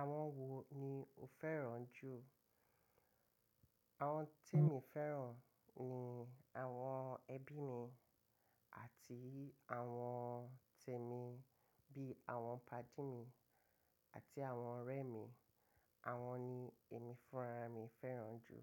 Àwọn wo ni o fẹ́ràn jù? Àwọn tí mo fẹ́ràn ni àwọn ẹbí mi àti àwọn tẹ̀mi bí i àwọn pàdí mi àti àwọn ọ̀rẹ́ mi. Àwọn ni èmi fúnra mí fẹ́ràn jù.